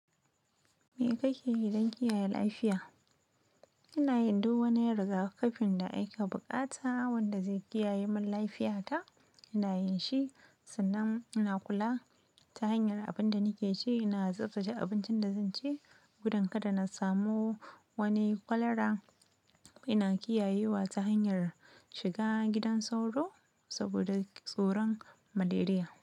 Me kake yi don kiyaye lafiya? Ina yin duk wani rigakafin da ake buƙata wanda zai kiyaye mun lafiyata. Ina yin shi, sannan ina kula ta hanyar abin da nake ci. Ina tsaftsace abuncin da zan ci. Gudun kada na samu wani kwalara. Ina kiyayewa ta hanyar shiga gidan sauro saboda tsoron maleria.